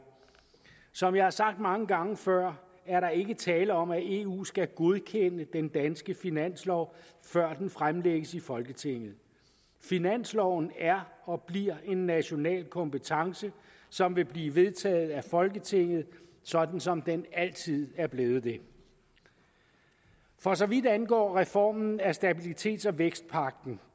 som jeg har sagt mange gange før er der ikke tale om at eu skal godkende den danske finanslov før der fremsættes i folketinget finansloven er og bliver en national kompetence som vil blive vedtaget af folketinget sådan som den altid er blevet det for så vidt angår reformen af stabilitets og vækstpagten